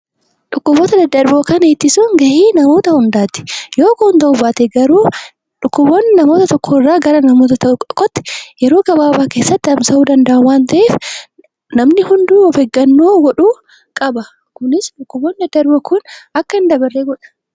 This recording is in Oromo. Dhukkuboota daddarboo ittisuun gahee namoota hundaati. Yoo Kun ta'uu baate garuu dhukkuboonni nama tokko irraa gara namoota tokko tokkootti yeroo gabaabaa keessatti tamsa'uu danda'a waan ta'eef, namni hunduu of eeggannoo godhuu qaba. Kunis dhukkuboonni daddarboo Kun akka hin dabarre godha.